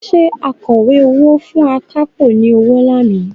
Ṣé akọ̀wé owó fún akápò ni ọwọ́ lánàá?